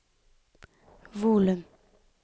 volum